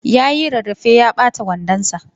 Yayi rarrafe ya ɓata wandon sa.